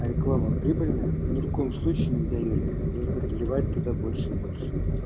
реклама прибыльная ни в коем случае нельзя её резать нужно заливать туда больше и больше